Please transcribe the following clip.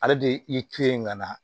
Ale de ye i to ye ka na